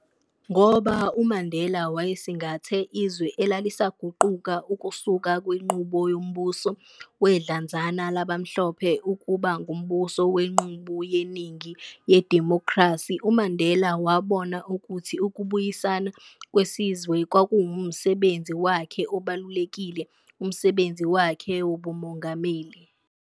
Ngoba uMandela wayesingathe izwe elalisaguquka ukusuka kwinqubo yombuso wedlanzana labamhlophe ukuba ngumbuso wenqubu yeningi yedimokhrasi, uMandela wabona ukuthi ukubuyisana kwesizwe kwakuwumsebenzi wakhe obalulekile kumsebenzi wakhe wobumongameli.